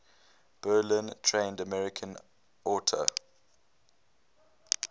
berlin trained american auteur